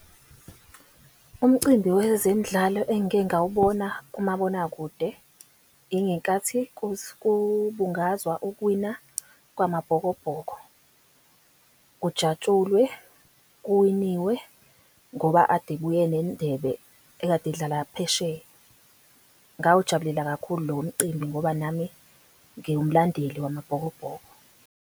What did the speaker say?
Umcimbi wezemidlalo engike ngawubona kumabonakude, ingenkathi kubungazwa ukuwina kwamabhokobhoko, kujatshulwe, kuwiniwe, ngoba ade buye nendebe ekade idlala phesheya. Ngawujabulela kakhulu lo mcimbi, ngoba nami ngiwumlandeli wamabhokobhoko.